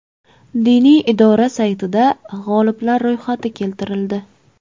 Diniy idora saytida g‘oliblar ro‘yxati keltirildi.